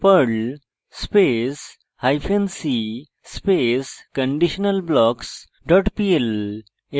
perl space hyphen c space conditionalblocks dot pl